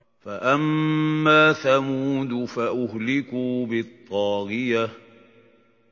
فَأَمَّا ثَمُودُ فَأُهْلِكُوا بِالطَّاغِيَةِ